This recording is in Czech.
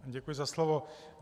Děkuji za slovo.